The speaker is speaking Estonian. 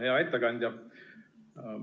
Hea ettekandja!